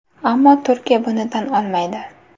Ammo Turkiya buni tan olmaydi.